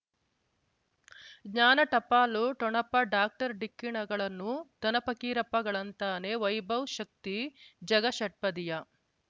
ಜ್ಞಾನ ಟಪಾಲು ಠೊಣಪ ಡಾಕ್ಟರ್ ಢಿಕ್ಕಿ ಣಗಳನು ಧನ ಫಕೀರಪ್ಪ ಗಳಂತಾನೆ ವೈಭವ್ ಶಕ್ತಿ ಝಗಾ ಷಟ್ಪದಿಯ